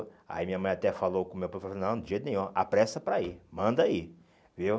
Aí minha mãe até falou com o meu pai, falou assim, não, de jeito nenhum, apressa para ir, manda ir, viu?